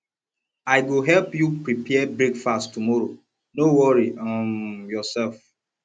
i go help you prepare breakfast tomorrow no worry um yoursef